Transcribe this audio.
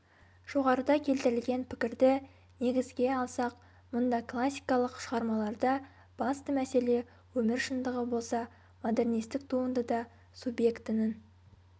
жоғарыда келтірілген пікірді негізге алсақ мұнда классикалық шығармаларда басты мәселе өмір шындығы болса модернистік туындыда субъектінің